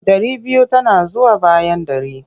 Ɗari biyu tana zuwa bayan ɗari.